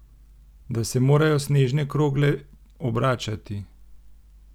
Da se morajo snežne krogle obračati?